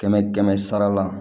Kɛmɛ kɛmɛ sara la